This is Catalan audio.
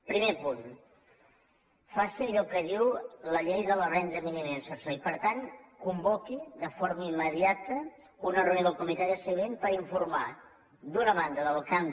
primer punt faci allò que diu la llei de la renda mínima d’inserció i per tant convoqui de forma immediata una reunió del comitè de seguiment per informar d’una banda del canvi